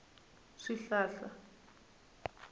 swihlahla